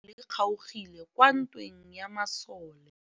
Letsôgô la tsala ya gagwe le kgaogile kwa ntweng ya masole.